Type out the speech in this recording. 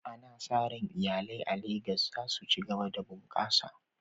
Ana sa ran iyalai a Legas za su ci gaba da bunƙasa.